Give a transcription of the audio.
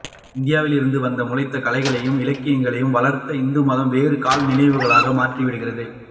இந்தியாவிலிருந்து வந்து முளைத்து கலைகளையும் இலக்கியங்களையும் வளர்த்த இந்துமதம் வெறும் கல்நினைவுகளாக மாறிவிட்டிருக்கிறது